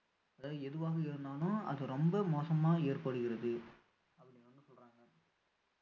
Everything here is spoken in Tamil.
அதாவது எதுவாக இருந்தாலும் அது ரொம்ப மோசமா ஏற்படுகிறது அப்படின்னு வந்து சொல்றாங்க